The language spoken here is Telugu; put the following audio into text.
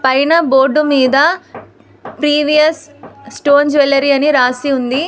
పైన బోర్డు మీద ప్రీవియస్ స్టోన్ జ్యువరీ అని రాసి ఉంది.